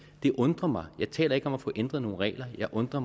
det undrer mig jeg taler ikke om at få ændret nogle regler jeg undrer